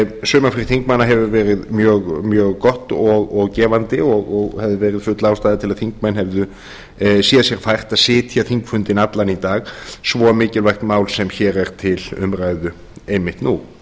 sumarfrí þingmanna hefur verið mjög gott og gefandi og hefði verið full ástæða til að þingmenn hefðu séð sér fært að sitja þingfundinn allan í dag svo mikilvægt mál sem hér er til umræðu einmitt nú